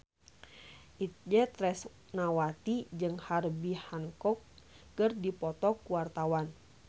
Itje Tresnawati jeung Herbie Hancock keur dipoto ku wartawan